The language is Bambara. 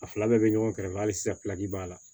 A fila bɛɛ bɛ ɲɔgɔn kɛrɛfɛ hali sisan b'a la